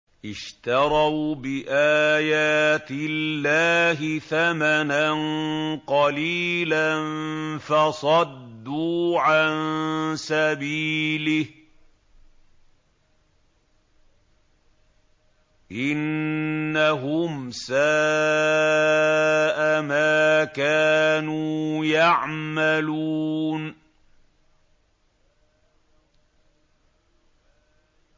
اشْتَرَوْا بِآيَاتِ اللَّهِ ثَمَنًا قَلِيلًا فَصَدُّوا عَن سَبِيلِهِ ۚ إِنَّهُمْ سَاءَ مَا كَانُوا يَعْمَلُونَ